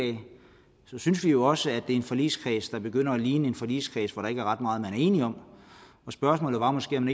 så synes vi jo også at det er en forligskreds der begynder at ligne en forligskreds hvor der ikke er ret meget man er enige om og spørgsmålet var måske om